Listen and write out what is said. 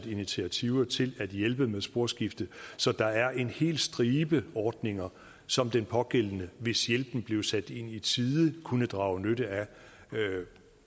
initiativer til at hjælpe med sporskifte så der er en hel stribe ordninger som den pågældende hvis hjælpen blev sat ind i tide kunne drage nytte af